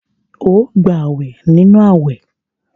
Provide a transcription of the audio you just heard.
Óò gbàwè nínú àwẹ̀!